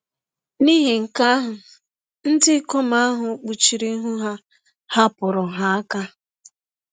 N’ihi nke ahụ, ndị ikom ahụ kpuchiri ihu ha, hapụrụ ha aka.